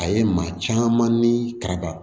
A ye maa caman ni karaba